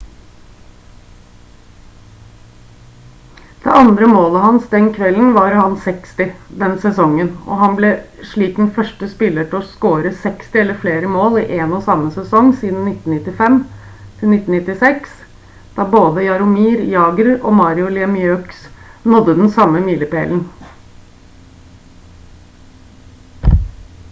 det andre målet hans den kvelden var hans 60. den sesongen og han ble slik den første spiller til å score 60 eller flere mål i en og samme sesong siden 1995-96 da både jaromir jagr og mario lemieux nådde den samme milepælen